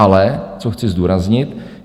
Ale co chci zdůraznit.